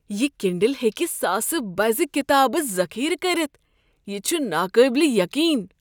یہ کنڈل ہیکہ ساسہٕ بزٕ کتابہٕ ذخیرٕ کٔرتھ۔ یہ چھ ناقابل یقین!